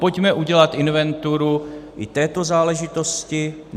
Pojďme udělat inventuru i této záležitosti.